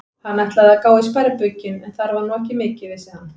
Hann ætlaði að gá í sparibaukinn, en þar var nú ekki mikið, vissi hann.